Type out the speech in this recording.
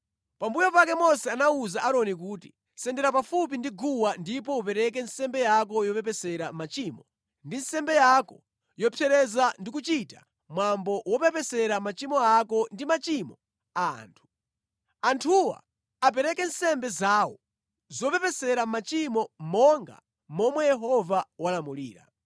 Pambuyo pake Mose anawuza Aaroni kuti, “Sendera pafupi ndi guwa ndipo upereka nsembe yako yopepesera machimo ndi nsembe yako yopsereza ndikuchita mwambo wopepesera machimo ako ndi machimo a anthu. Anthuwa apereke nsembe zawo zopepesera machimo monga momwe Yehova walamulira.”